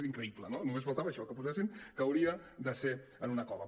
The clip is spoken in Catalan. és increïble no només faltava això que posessin que hauria de ser en una cova